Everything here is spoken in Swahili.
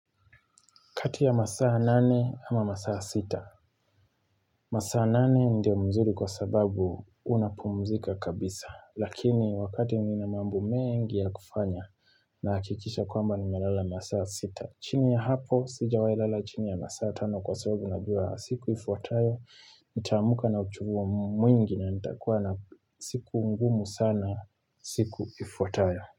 Kati ya masaa nane ama masaa sita. Masaa nane ndio mzuri kwa sababu unapumzika kabisa. Lakini wakati nina mambo mengi ya kufanya nahakikisha kwamba ninalala masaa sita. Chini ya hapo, sijawai lala chini ya masaa tano kwa sababu najua siku ifwatayo. Nitaamka na uchuvu mwingi na nitakuwa na siku ngumu sana siku ifwatayo.